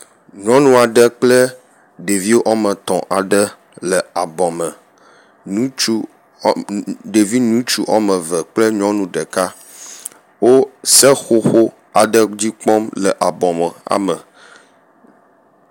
nyunuaɖe kple ɖevi woame etɔ̃ aɖe le abɔme ɖevi ŋutsu wɔmeve kple nyɔnu ɖeka wó seƒoƒo aɖe dzi kpɔm le abɔme